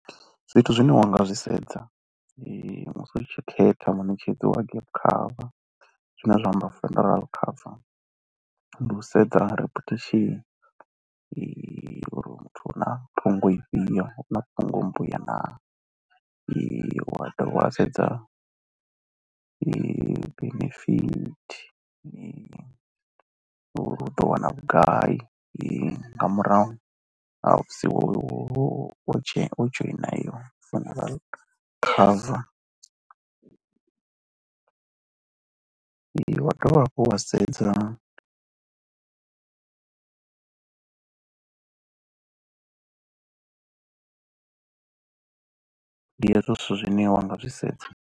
Zwithu zwine wa nga zwi sedza musi u tshi khetha muṋetshedzi wa gap cover zwine zwa amba funeral cover, ndi u sedza reputation uri muthu u na phungo ifhio na phungo mbuya naa. Wa dovha wa sedza benefit uri u ḓo wana vhugai nga murahu ha musi wo dzhoina heyo funeral cover, wa dovha hafhu wa sedza ndi hezwo zwithu zwine wa nga zwi sedza.